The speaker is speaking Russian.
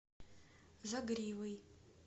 загривый